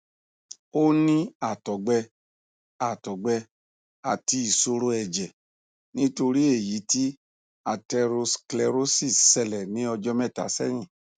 ó ní àtọgbẹ àtọgbẹ àti ìṣòro ẹjẹ nítorí èyí tí atherosclerosis ṣẹlẹ ní ọjọ mẹta sẹyìn